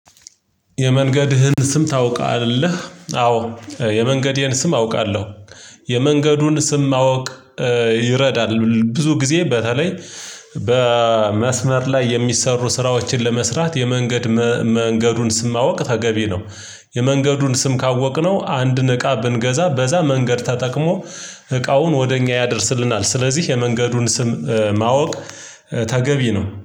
የመንገድህን ስም ታውቃለህ? አዎ የመንገዴን ስም አውቃለሁ። የመንገዱን ስም ማወቅ ይረዳል ብዙ ጊዜ በተለይ በመስመር ላይ የሚሰሩ ስራዎችን ለመስራት የመንገድ መንገዱን ስም ማወቅ ተገቢ ነው። የመንገዱን ስም ካወቅነው አንድ እቃ ብንገዛ በዛ መንገድ ተጠቅሞ እቃውን ወደ እኛ ያደርስልናል። ስለዚህ የመንገዱን ስም ማወቅ ተገቢ ነው